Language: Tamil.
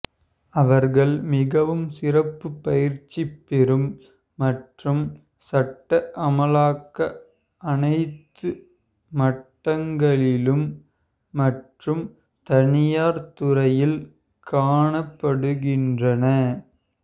அவர்கள் மிகவும் சிறப்பு பயிற்சி பெறும் மற்றும் சட்ட அமலாக்க அனைத்து மட்டங்களிலும் மற்றும் தனியார் துறையில் காணப்படுகின்றன